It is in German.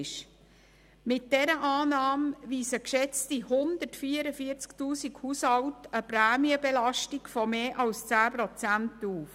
Mit dieser Annahme weisen geschätzte 144 000 Haushalte eine Prämienbelastung von mehr als 10 Prozent aus.